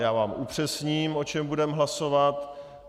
Já vám upřesním, o čem budeme hlasovat.